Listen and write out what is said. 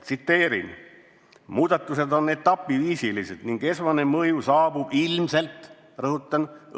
Tsiteerin: "Muudatused on etapiviisilised ning esmane mõju saabub ilmselt – rõhutan!